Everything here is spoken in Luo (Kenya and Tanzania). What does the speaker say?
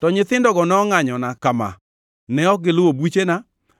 To nyithindogo nongʼanyona kama: Ne ok giluwo buchena,